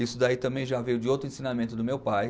Isso daí também já veio de outro ensinamento do meu pai.